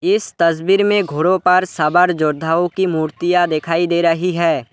इस तस्वीर में घोड़ों पर सवार योद्धाओं की मूर्तियां दिखाई दे रही है।